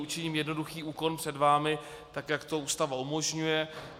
Učiním jednoduchý úkon před vámi, tak jak to Ústava umožňuje.